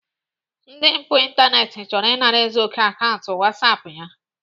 Ndị mpụ ịntanetị chọrọ ịnara Ezeoke akaụntụ whatsapp ya